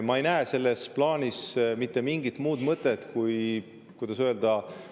Ma ei näe selles plaanis mitte mingit muud mõtet, kui – kuidas öelda?